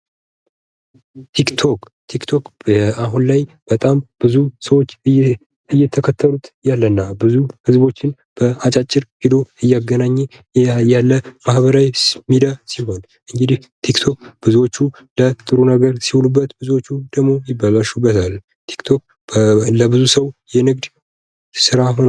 ቲክቶክ፤ ቲክቶክ በአሁን ላይ በጣም ብዙ ሰዎች እየተከተሉት ያለ እና ብዙ ህዝቦችን በአጫጭር ቪዲዮ እያገናኘ ያለ ማህበራዊ ሚዲያ ሲሆን እንግዲህ ቲክቶክ ብዙዎቹ ለጥሩ ነገር ሲውሉበት ብዙዎቹ ደሞ ይበላሹበታል። ቲክቶክ ለብዙ ሰው የንግድ ስራ ሆንዋል።